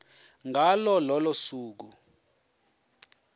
ngalo lolo suku